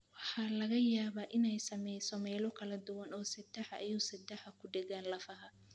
Waxa laga yaabaa inay saamayso meelo kala duwan oo seedaha iyo seedaha ku dhegaan lafaha.